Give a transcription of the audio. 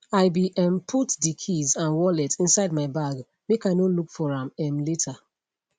i be um put de keys and wallet inside my bag make i no look for am um later